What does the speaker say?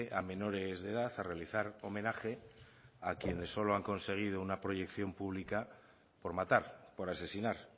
a menores de edad a realizar homenaje a quienes solo han conseguido una proyección pública por matar por asesinar